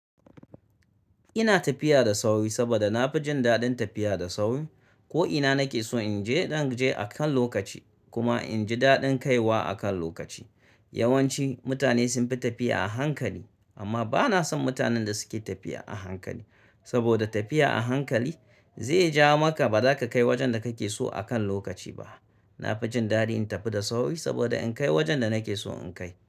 Ina tafiya da sauri saboda na fi jin daɗin tafiya da sauri. Ko ina nake so in je, zan je akan lokaci kuma in ji daɗin kaiwa akan lokaci. Yawanci mutane sun fi tafiya a hankali amma ba na son mutanen da suke tafiya a hankali. Saboda tafiya a hankali zai ja maka ba za ka kai wajen da kake so akan lokaci ba. Na fi jin daɗi in tafi da sauri saboda in kai wajen da nake so in kai.